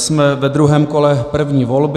Jsme ve druhém kole první volby.